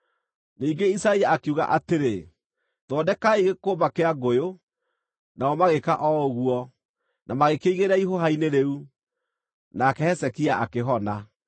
Ningĩ Isaia akiuga atĩrĩ, “Thondekai gĩkũmba kĩa ngũyũ.” Nao magĩĩka o ũguo, na magĩkĩigĩrĩra ihũha-inĩ rĩu, nake Hezekia akĩhona.